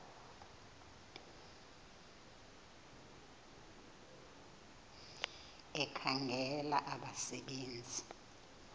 ekhangela abasebe nzi